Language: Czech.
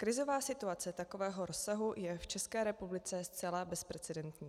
Krizová situace takového rozsahu je v České republice zcela bezprecedentní.